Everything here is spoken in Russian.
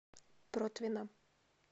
протвино